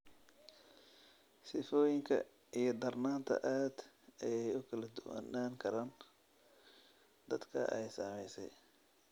Sifooyinka iyo darnaanta aad ayey ugu kala duwanaan karaan dadka ay saameysay.